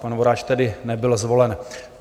Pan Voráč tedy nebyl zvolen.